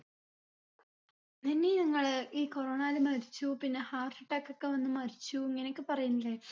നനി നിങ്ങള് ഈ corona ല് മരിച്ചു പിന്നെ heart attack ഒക്കെ വന്ന് മരിച്ചു ഇങ്ങനെയൊക്കെ പറയുന്നില്ലേ